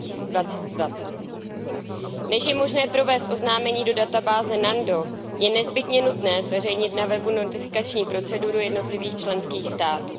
2020. Než je možné provést oznámení do databáze NANDO, je nezbytně nutné zveřejnit na webu notifikační proceduru jednotlivých členských států.